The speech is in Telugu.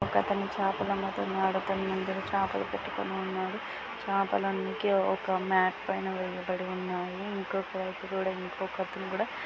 ఒక అతను చేపలు అమ్ముతున్నాడు. కొన్ని చేపలు పెట్టుకొని ఉన్నాడు . చేపలన్నీ ఒక మత్ పైన వెయ్యబడి ఉన్నాయి. ఇంకో వైపు కూడా ఇంకోఅతను కూడా--